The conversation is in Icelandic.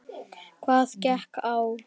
Hvað gekk á?